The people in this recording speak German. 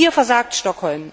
Hier versagt Stockholm.